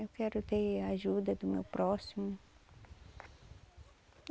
Eu quero ter a ajuda do meu próximo.